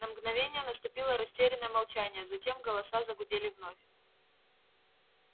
на мгновение наступило растерянное молчание а затем голоса загудели вновь